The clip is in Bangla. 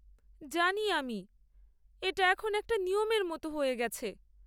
জানি আমি। এটা এখন একটা নিয়মের মতো হয়ে গেছে।